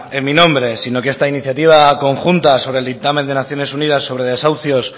en mi nombre sino que esta iniciativa conjunta sobre el dictamen de naciones unidas sobre desahucios